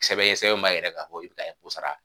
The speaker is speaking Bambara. Sɛbɛn ye sɛbɛn mun b'a yira ka fɔ bila ko sara.